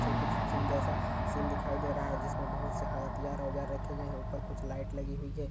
सब कुछ सीन जैसा दिखाई दे रहा है जिसमें बहुत सारा हथियार वगैरा रखें गए हैं ऊपर कुछ लाइट लगी हुई है।